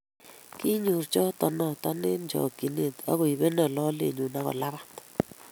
Kinyor choto noto eng chokchinet agoibeno lolenyu agolabat